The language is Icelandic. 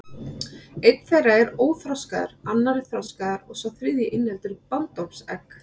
Einn þeirra er óþroskaður, annar er þroskaður og sá þriðji inniheldur bandormsegg.